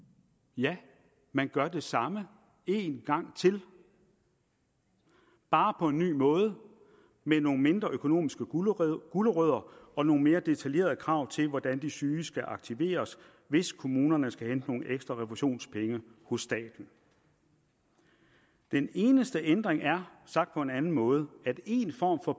ja man gør det samme en gang til bare på en ny måde med nogle mindre økonomiske gulerødder gulerødder og nogle mere detaljerede krav til hvordan de syge skal aktiveres hvis kommunerne skal hente nogle ekstra refusionspenge hos staten den eneste ændring er sagt på en anden måde at en form for